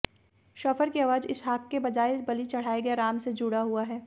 chauffeur की आवाज इसहाक के बजाए बलि चढ़ाए गए राम से जुड़ा हुआ है